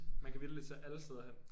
Man kan vitterligt tage alle steder hen